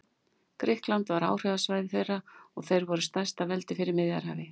Grikkland varð áhrifasvæði þeirra og þeir voru stærsta veldi fyrir Miðjarðarhafi.